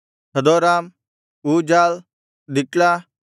ಹದೋರಾಮ್ ಊಜಾಲ್ ದಿಕ್ಲ